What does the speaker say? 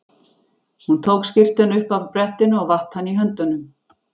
Hún tók skyrtuna upp af brettinu og vatt hana í höndunum.